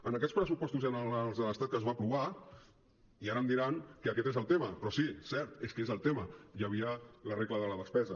en aquests pressupostos generals de l’estat que es van aprovar i ara em diran que aquest és el tema però sí cert és que és el tema hi havia la regla de la despesa